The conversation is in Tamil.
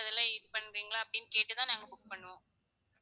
அதெல்லாம் use பண்றிங்களா அப்படின்னு கேட்டு தான் நாங்க book பண்ணுவோம்